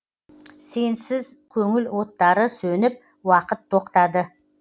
сенсіз көңіл оттары сөніп уақыт тоқтады